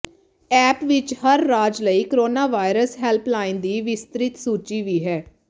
app ਵਿੱਚ ਹਰ ਰਾਜ ਲਈ ਕੋਰੋਨਾਵਾਇਰਸ ਹੈਲਪਲਾਈਨ ਦੀ ਵਿਸਤ੍ਰਿਤ ਸੂਚੀ ਵੀ ਹੈ